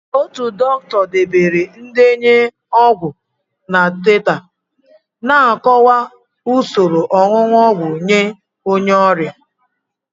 Otu dọkịta debere ndenye ọgwụ na teta na-akọwa usoro onunu ogwu nye onye ọrịa.